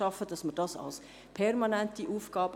Wir betrachten dies als permanente Aufgabe.